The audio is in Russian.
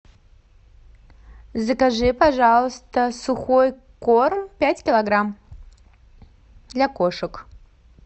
закажи пожалуйста сухой корм пять килограмм для кошек